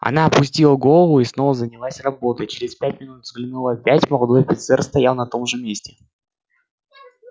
она опустила голову и снова занялась работой через пять минут взглянула опять молодой офицер стоял на том же месте